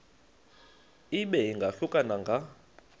ibe ingahluka nanga